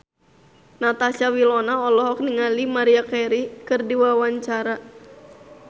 Natasha Wilona olohok ningali Maria Carey keur diwawancara